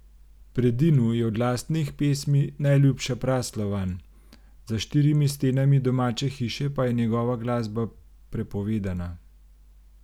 Predinu je od lastnih pesmi najljubša Praslovan, za štirimi stenami domače hiše pa je njegova glasba prepovedana.